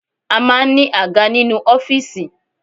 A maa n ní àga nínú ọ́fìsì